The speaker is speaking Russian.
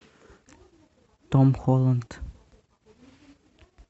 том холланд